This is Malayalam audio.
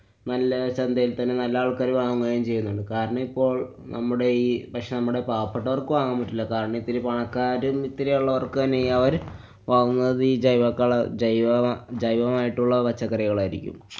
നല്ല ചന്തയില്‍ തന്നെ നല്ല ആള്‍ക്കാര് വാങ്ങുകയും ചെയ്യുന്നുണ്ട്. കാരണം ഇപ്പോള്‍ നമ്മുടെ ഈ, പക്ഷെ നമ്മുടെ പാവപ്പെട്ടവര്‍ക്ക് വാങ്ങാന്‍ പറ്റൂല. കാരണം ഇത്തിരി പണക്കാരും ഇത്തിരിയുള്ളവര്‍ക്ക് തന്നെ, അവര് വാങ്ങുന്നത് ജൈവക്കള~ ജൈവള~ജൈവമായിട്ടുള്ള പച്ചക്കറികളായിരിക്കും.